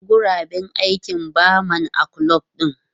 Akwai guraben aikin barman a kulob din.